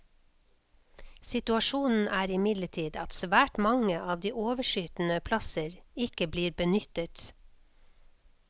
Situasjonen er imidlertid at svært mange av de overskytende plasser ikke blir benyttet.